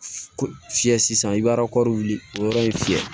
Fiyɛ sisan i b'a wuli k'o yɔrɔ in fiyɛ